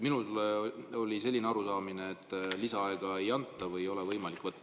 Minul oli selline arusaamine, et lisaaega ei anta või ei ole võimalik võtta.